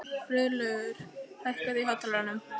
Friðlaugur, hækkaðu í hátalaranum.